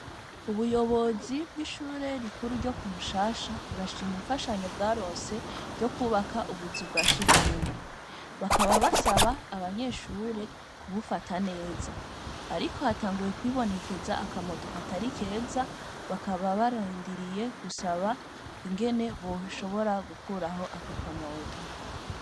Ubuyobozi bw'ishure rikuru ryo Kumushasha burashima imfashanyo bwaronse Ryo kubaka ubuzu bwasugumwe bakaba basaba abanyeshure kubufata neza Ariko hatanguye kwibonekeza akamoto katari keza bakaba barindiriye gusaba ingene boshobora gukurayo Ako kamoto